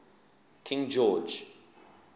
king george